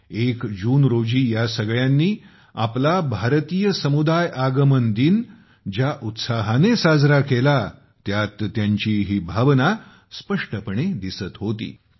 1 जूनला ह्या सगळ्यांनी आपला भारतीय समुदाय आगमन दिन ज्या उत्साहाने साजरा केला त्यात त्यांची ही भावना स्पष्टपणे दिसत होती